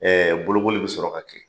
Ɛɛ bolokoli bi sɔrɔ ka kɛ